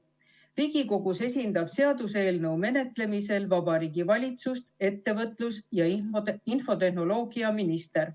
Riigikogus esindab seaduseelnõu menetlemisel Vabariigi Valitsust ettevõtlus- ja infotehnoloogiaminister.